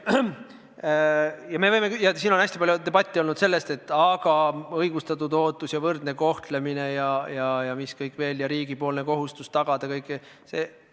Siin on hästi palju debati käigus kõlanud argument, et aga õigustatud ootus ja võrdne kohtlemine ja mis kõik veel, riik on kohustatud kõike tagama.